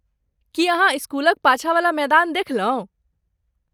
की अहाँ इस्कुलक पाछाँवला मैदान देखलहुँ?